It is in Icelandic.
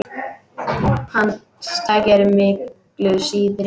Hans tæki eru miklu síðri.